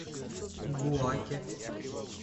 буаке